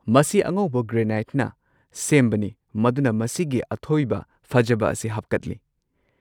ꯃꯁꯤ ꯑꯉꯧꯕ ꯒ꯭ꯔꯦꯅꯥꯏꯠꯅ ꯁꯦꯝꯕꯅꯤ ꯃꯗꯨꯅ ꯃꯁꯤꯒꯤ ꯑꯊꯣꯏꯕ ꯐꯖꯕ ꯑꯁꯤ ꯍꯥꯞꯀꯠꯂꯤ꯫